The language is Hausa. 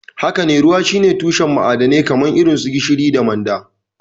Haka ne, ruwa shine tushen ma'adanai irin su gishiri da manda.